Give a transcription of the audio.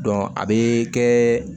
a bɛ kɛ